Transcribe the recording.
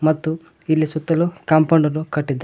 ಮತ್ತು ಇಲ್ಲಿ ಸುತ್ತಲು ಕಾಂಪೌಂಡ್ ಅನ್ನು ಕಟ್ಟಿದ--